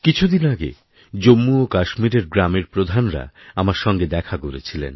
কিছুদিন আগেজম্মু ও কাশ্মীরের সব গ্রামের প্রধানরা আমার সঙ্গে দেখা করেছিলেন